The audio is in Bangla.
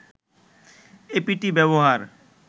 এপিটি ব্যবহার